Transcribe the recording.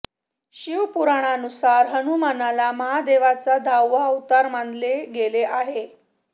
शिव पुराणानुसार हनुमानाला महादेवाचा दहावा अवतार मानले गेले आहे